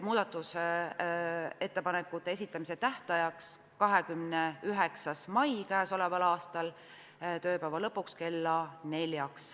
Muudatusettepanekute esitamise tähtaeg võiks olla 29. mai kell 16.00.